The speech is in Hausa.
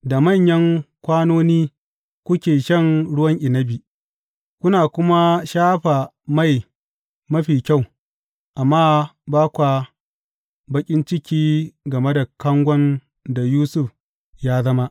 Da manyan kwanoni kuke shan ruwan inabi kuna kuma shafa mai mafi kyau, amma ba kwa baƙin ciki game da kangon da Yusuf ya zama.